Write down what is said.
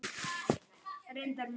Að sér vefur Árna betur